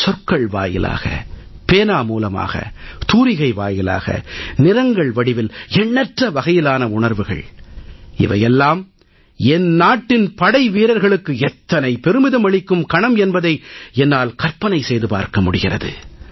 சொற்கள் வாயிலாக பேனா மூலமாக தூரிகை வாயிலாக நிறங்கள் வடிவில் எண்ணற்ற வகையிலான உணர்வுகள் இவை எல்லாம் என் நாட்டின் படைவீரர்களுக்கு எத்தனை பெருமிதம் அளிக்கும் கணம் என்பதை என்னால் கற்பனை செய்து பார்க்க முடிகிறது